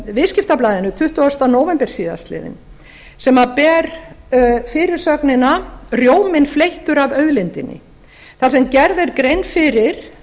viðskiptablaðinu tuttugasta nóvember síðastliðinn sem ber fyrirsögnina rjóminn fleyttur af auðlindinni þar sem gerð er grein fyrir